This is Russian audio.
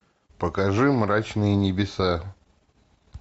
покажи мрачные небеса